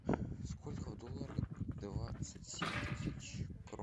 сколько в долларах двадцать семь тысяч крон